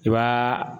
I b'a